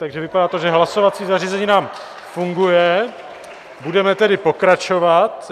Takže to vypadá, že hlasovací zařízení nám funguje, budeme tedy pokračovat.